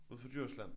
Ud for Djursland?